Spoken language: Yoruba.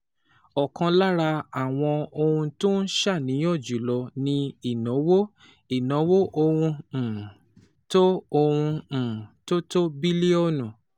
Ọ̀kan lára àwọn ohun tó ń ṣàníyàn jù lọ ni ìnáwó ìnáwó ọ̀hún um tó ọ̀hún um tó tó bílíọ̀nù